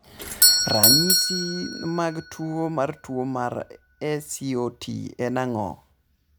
Ranyisi mag tuwo mar tuwo mar SCOT en ang'o?